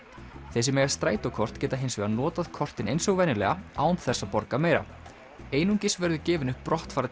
þeir sem eiga strætókort geta hins vegar notað kortin eins og venjulega án þess að borga meira einungis verður gefinn upp